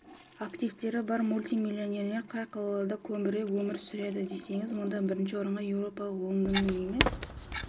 активтері бар мультимиллионерлер қай қалада көбірек өмір сүреді десеңіз мұнда бірінші орынға еуропалық лондонның емес